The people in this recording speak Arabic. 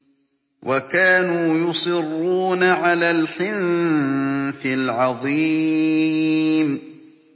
وَكَانُوا يُصِرُّونَ عَلَى الْحِنثِ الْعَظِيمِ